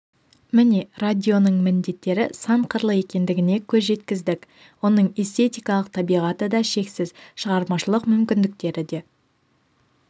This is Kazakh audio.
міне радионың міндеттері сан қырлы екендігіне көз жеткіздік оның эстетикалық табиғаты да шексіз шығармашылық мүмкіндіктері де